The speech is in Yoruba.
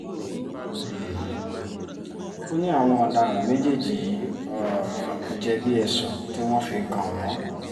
um ó ní àwọn ọ̀daràn méjèèjì yìí um jẹ̀bi ẹ̀sùn tí wọ́n fi kàn wọ́n